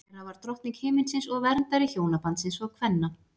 Hera var drottning himinsins og verndari hjónabandsins og kvenna.